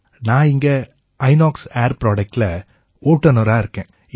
நான் இங்க இனாக்ஸ் ஏர் Productஇல ஓட்டுநரா இருக்கேன்